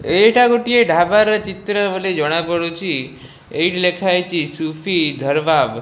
ଏଇଟା ଗୋଟିଏ ଢାବର ଚିତ୍ର ବୋଲି ଜଣାପଡୁଛି ଏଇଠି ଲେଖାହେଇଛି ସୁଫି ଧର୍ବାଵ୍।